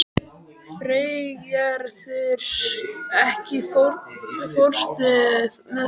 Freygerður, ekki fórstu með þeim?